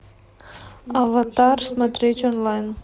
аватар смотреть онлайн